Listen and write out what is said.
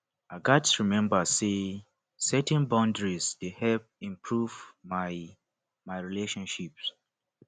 i gats remember say setting boundaries dey help improve my my relationships